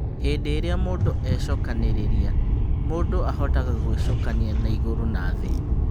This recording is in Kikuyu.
Hĩndĩ ĩrĩa mũndũ e-cokanĩrĩria, mũndũ ahotaga gũĩcokania na igũrũ na thĩ.